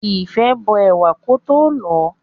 Ìfẹ́ bó ẹ̀wà kótó lọ̀ọ́.